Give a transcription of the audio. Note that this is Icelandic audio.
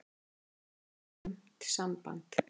Það er slæmt samband.